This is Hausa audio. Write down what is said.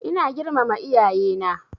Ina girmama iyaye na